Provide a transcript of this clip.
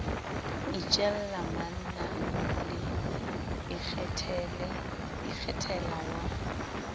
itjella manna le ikgethela wa